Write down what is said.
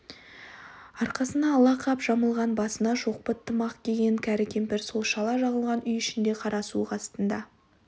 арқасына ала қап жамылған басына шоқпыт тымақ киген кәрі кемпір сол шала жағылған үй ішінде қара суық астында